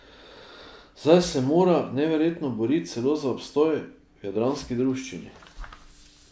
Zdaj se mora, neverjetno, boriti celo za obstoj v jadranski druščini!